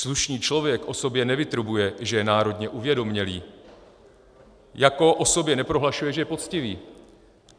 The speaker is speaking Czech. Slušný člověk o sobě nevytrubuje, že je národně uvědomělý, jako o sobě neprohlašuje, že je poctivý.